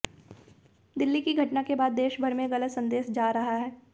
दिल्ली की घटना के बाद देशभर में गलत संदेश जा रहा